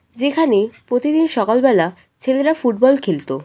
যেখানে প্রতিদিন সকাল বেলা ছেলেরা ফুটবল খেলতো।